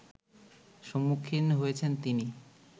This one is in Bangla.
সম্মুখীন হয়েছেন তিনি